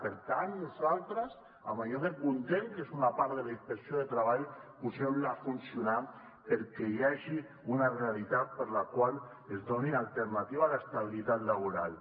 per tant nosaltres amb allò que comptem és una part de la inspecció de treball poseu la a funcionar perquè hi hagi una realitat per a la qual es doni alternativa a l’estabilitat laboral